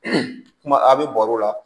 kuma a bɛ baro la